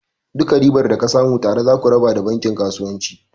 Duka ribar da ka samu tare zaku raba da bankin kasuwanci.